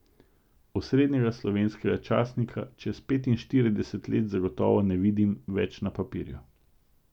Osrednjega slovenskega časnika čez petinštirideset let zagotovo ne vidim več na papirju.